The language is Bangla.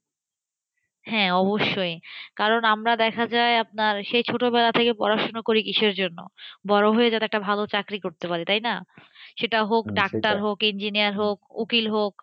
হ্যাঁ অবশ্যই। কারণ আমরা দেখা যায় আপনার, সেই ছোটবেলা থেকে পড়াশুনা করি কিসের জন্য? বড়ো হয়ে যাতে একটা ভালো চাকরি করতে পারি। তাইনা? সেটা হোক, ডাক্তার হোক, ইঞ্জিনিয়ার হোক, উকিল হোক